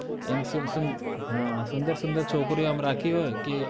હમ સુંદર સુંદર છોકરીઓ આમ રાખી હોય કે